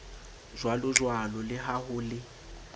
jwalojwalo le ha ho le